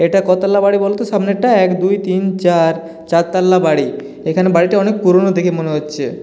এটা কতলা বাড়ি বলতো সামনেরটা এক দুই তিন চার চারতলা বাড়ি এখানে বাড়িটা অনেক পুরোনো দেখে মনে হচ্ছে।